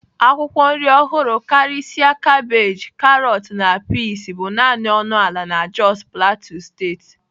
Akwụkwọ nri ọhụrụ karịsịa kabeeji, karọt na peas bụ naanị ọnụ ala na Jos plateau steeti.